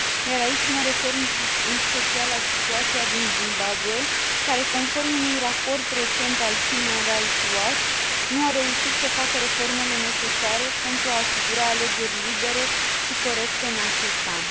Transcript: Iar aici, mă refer în special la situația din Zimbabwe, care, conform unui raport recent al Human Rights Watch, nu a reușit să facă reformele necesare pentru a asigura alegeri libere și corecte în acest an.